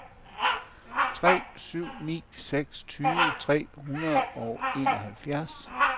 tre syv ni seks tyve tre hundrede og enoghalvfjerds